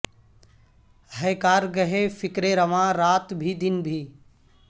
ہے کار گہ فکر رواں رات بھی دن بھی